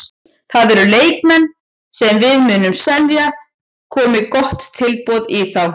Það eru leikmenn sem við munum selja komi gott tilboð í þá.